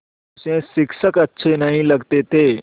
उसे शिक्षक अच्छे नहीं लगते थे